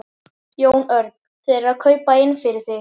Jón Örn: Þeir eru að kaupa inn fyrir þig?